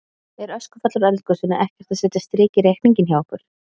Er öskufall úr eldgosinu ekkert að setja strik í reikninginn hjá ykkur?